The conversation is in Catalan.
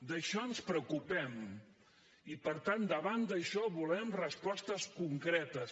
d’això ens en preocupem i per tant davant d’això volem respostes concretes